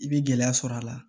I bɛ gɛlɛya sɔrɔ a la